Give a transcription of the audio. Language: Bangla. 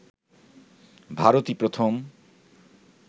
ভারতই প্রথম